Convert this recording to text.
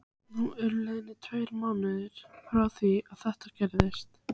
Nú eru liðnir tveir mánuðir frá því þetta gerðist.